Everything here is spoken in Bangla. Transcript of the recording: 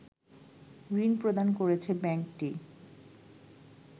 ঋণ প্রদান করেছে ব্যাংকটি